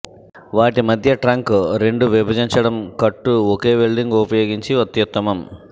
వాటి మధ్య ట్రంక్ రెండు విభజించటం కట్టు ఒకే వెల్డింగ్ ఉపయోగించి అత్యుత్తమం